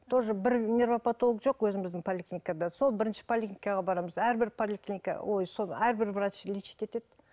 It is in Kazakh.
тоже бір жоқ өзіміздің поликлиникада сол бірінші поликлиникаға барамыз әрбір поликлиника ой сол әрбір врач лечить етеді